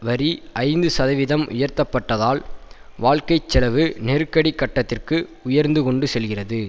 வரி ஐந்து சதவீதம் உயர்த்தப்பட்டதால் வாழ்க்கை செலவு நெருக்கடி கட்டத்திற்கு உயர்ந்து கொண்டு செல்கிறது